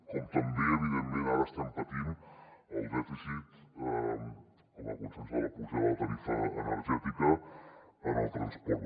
com també evidentment ara estem patint el dèficit com a conseqüència de la pujada de tarifa energètica en el transport